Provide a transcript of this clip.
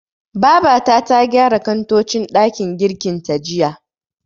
Babata ta gyara kantocin ɗakin girkin ta jiya.